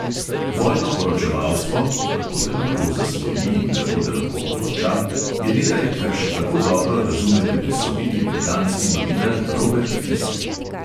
Vojno poročevalstvo – kako te lahko zasvoji in kako te lahko pokonča – je nekaj, kar še kako dobro razume tudi sloviti britanski novinar robert fisk.